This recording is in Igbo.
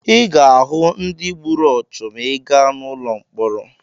Ị ga-ahụ ndị gburu ọchụ ma ị gaa n'ụlọ mkpọrọ.